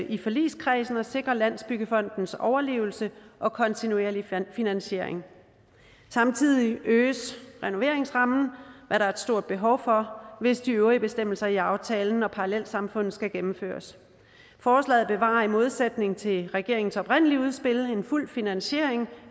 i forligskredsen at sikre landsbyggefondens overlevelse og kontinuerlige finansiering samtidig øges renoveringsrammen hvad der er et stort behov for hvis de øvrige bestemmelser i aftalen om parallelsamfund skal gennemføres forslaget bevarer i modsætning til regeringens oprindelige udspil en fuld finansiering